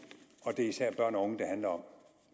og det er især børn og unge det handler om